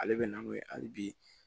Ale bɛ na n'o ye hali bi